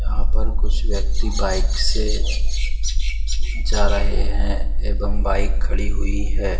यहाँ पर कुछ व्यक्ति बाइक से जा रहे हैं एवं बाइक खड़ी हुई है।